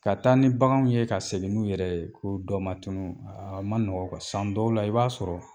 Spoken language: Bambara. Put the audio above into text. Ka taa ni baganw ye ka segin n'u yɛrɛ ye ko dɔ ma tunun aa ma nɔgɔn , san dɔw la i b'a sɔrɔ